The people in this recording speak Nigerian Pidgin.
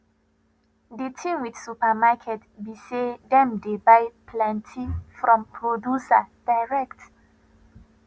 di thing with supermarket be sey dem dey buy plenty from producer direct